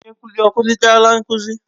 Onye nkuzi ọ kụzichaala nkuzi?